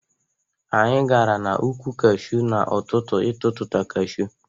Anyị gara n' ukwụ Kashu n'ụtụtụ ịtututa Kashu.